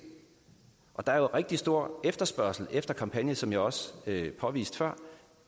og der er jo rigtig stor efterspørgsel efter kampagner som jeg også påviste før